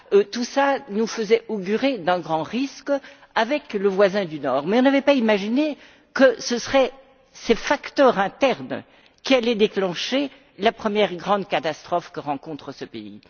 Tout cela nous faisait augurer d'un grand risque avec le voisin du Nord mais nous n'avions pas imaginé que ce seraient ces facteurs internes qui allaient déclencher la première grande catastrophe que rencontre ce pays.